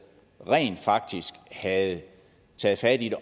osv rent faktisk havde taget fat i